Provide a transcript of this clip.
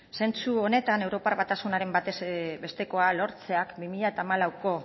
zentzu honetan europar batasunaren batezbestekoa lortzeak bi mila hamalauko